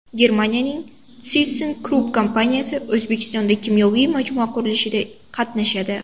Germaniyaning ThyssenKrupp kompaniyasi O‘zbekistonda kimyoviy majmua qurilishida qatnashadi.